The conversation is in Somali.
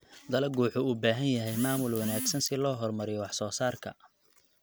Dalaggu wuxuu u baahan yahay maamul wanaagsan si loo horumariyo wax soo saarka.